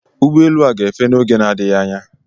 Ụgbọ elu a gá-efe n'oge na adịghị anya.